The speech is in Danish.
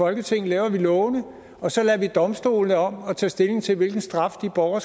folketinget laver vi lovene og så lader vi domstolene om at tage stilling til hvilken straf de borgere